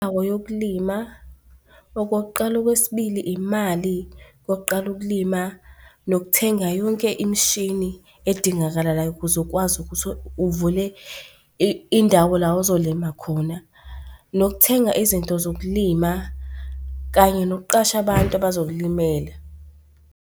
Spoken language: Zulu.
Indawo yokulima okokuqala, okwesibili imali yokuqala ukulima, nokuthenga yonke imishini edingakalayo ukuze ukwazi ukuthi uvule indawo la ozolima khona nokuthenga izinto zokulima kanye nokuqasha abantu abazokulimela.